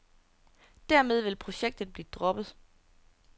Dermed vil projektet blive droppet.